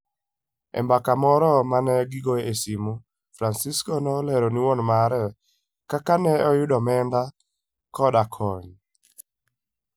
E mbaka moro ma ne gigoyo e simo, Francisco ne olero ne wuon mare kaka ne giyudo omenda koda kony.